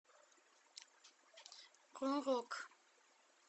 про рок